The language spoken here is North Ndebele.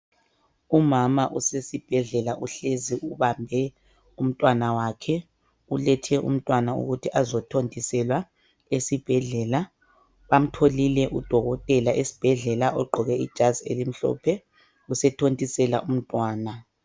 Umama usesibhedlela uhlezi ubambe umntwana wakhe. Ulethe umntwana ukuthi azothontiselwa esibhedlela. Bamtholile udokothela esibhedlela, ogqoke ijazi elimhlophe usethontisela umntwana.